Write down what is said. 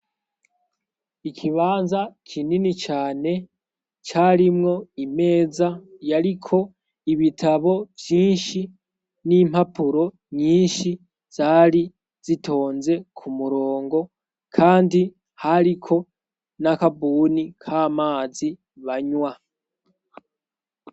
Ikibanza kinini cane carimwo imeza yariko ibitabo vyinshi n'impapuro nyinshi zari zitonze ku murongo, kandi hariko n'akabuni k' amazi banywa